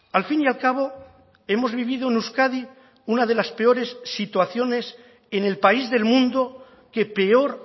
al fin y al cabo hemos vivido en euskadi una de las peores situaciones en el país del mundo que peor